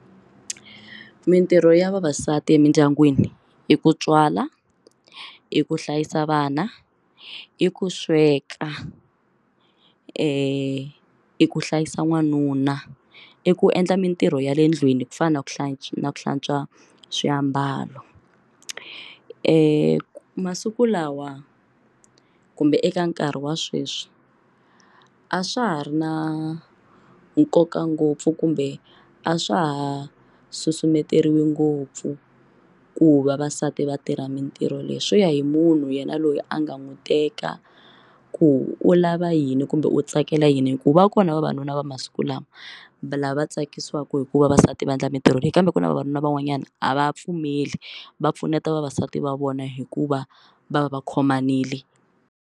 Mintirho ya vavasati emindyangwini i ku tswala i ku hlayisa vana i ku sweka i ku hlayisa n'wanuna i ku endla mintirho ya le ndlwini ku fana na ku hlantswa na ku hlantswa swiambalo masiku lawa kumbe eka nkarhi wa sweswi a swa ha ri na nkoka ngopfu kumbe a swa ha susumeteriwi ngopfu ku va vasati va tirha mitirho leyi swi ya hi munhu yena loyi a nga n'wi teka ku u lava yini kumbe u tsakela yini hikuva kona vavanuna va masiku lawa lava tsakisiwaka hi ku vavasati va endla mintirho leyi kambe ku na vavanuna van'wanyana a va pfumeli va pfuneta vavasati va vona hikuva va va va khomanile.